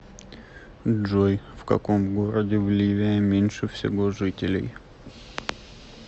джой в каком городе в ливия меньше всего жителей